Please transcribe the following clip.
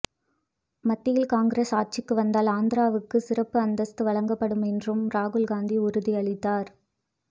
மத்தியில் காங்கிரஸ் ஆட்சிக்கு வந்தால் ஆந்திராவுக்கு சிறப்பு அந்தஸ்து வழங்கப்படும் என்றும் ராகுல் காந்தி உறுதியளித்தார்